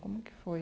Como que foi?